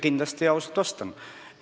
Kindlasti vastan ausalt.